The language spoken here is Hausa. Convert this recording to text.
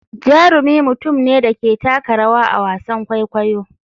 Jarumi mutum ne da ke taka rawa a wasan kwaikwayo.